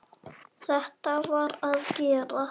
Þetta varð að gerast.